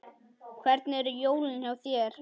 Hvernig eru jólin hjá þér?